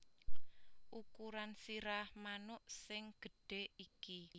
Ukuran sirah manuk sing gedhe iki